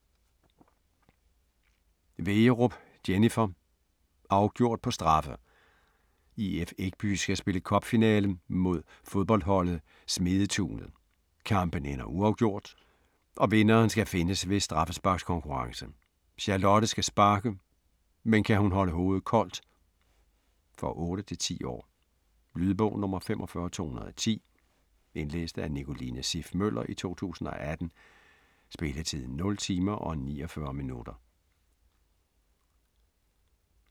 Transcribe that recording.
Wegerup, Jennifer: Afgjort på straffe! IF Ekby skal spille cup-finale mod fodboldholdet Smedetunet. Kampen ender uafgjort, og vinderen skal findes ved straffesparkskonkurrence. Charlotte skal sparke, men kan hun holde hovedet koldt? For 8-10 år. Lydbog 45210 Indlæst af Nicoline Siff Møller, 2018. Spilletid: 0 timer, 49 minutter.